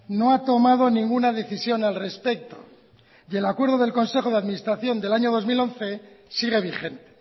no ha tomado ninguna decisión al respecto y el acuerdo del consejo de administración del año del dos mil once sigue vigente